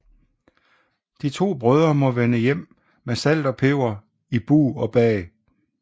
De to brødre må vende hjem med salt og peber i bug og bag